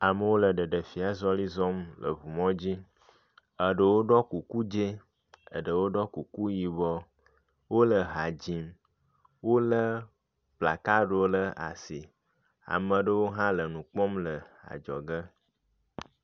Amewo le ɖeɖefia zɔli zɔm le ŋu mɔ ddzi. Eɖewo ɖɔ kuku dzi eɖewo ɖɔ kuku yibɔ. Wo le ha dzim. Wo le kplakaɖiwo ɖe asi. Ame aɖewo hã le nu kpɔm le adzɔge.